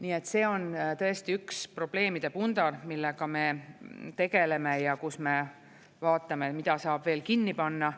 Nii et see on tõesti üks probleemide pundar, millega me tegeleme ja kus me vaatame, mida saab veel kinni panna.